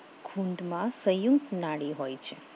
ખૂંદ માં સંયુક્ત નાડી હોય છે